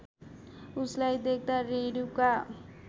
उसलाई देख्दा रेणुका